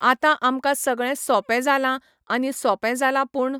आतां आमकां सगळें सोपें जालां आनी सोपें जालां पूण